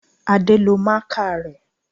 Adé lo máàkà rẹ